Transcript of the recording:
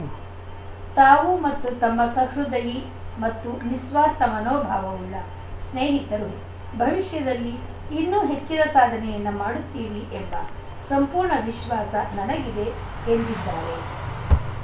ತಾವು ಮತ್ತು ತಮ್ಮ ಸಹೃದಯಿ ಮತ್ತು ನಿಸ್ವಾರ್ಥ ಮನೋಭಾವವುಳ್ಳ ಸ್ನೇಹಿತರು ಭವಿಷ್ಯದಲ್ಲಿ ಇನ್ನೂ ಹೆಚ್ಚಿನ ಸಾಧನೆಯನ್ನು ಮಾಡುತ್ತೀರಿ ಎಂಬ ಸಂಪೂರ್ಣ ವಿಶ್ವಾಸ ನನಗಿದೆ ಎಂದಿದ್ದಾರೆ